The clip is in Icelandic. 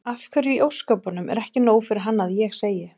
Af hverju í ósköpunum er ekki nóg fyrir hann að ég segi